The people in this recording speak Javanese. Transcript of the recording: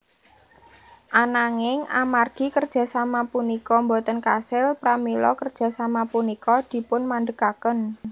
Ananging amargi kerjasama punika boten kasil pramila kerjasama punika dipunmandegaken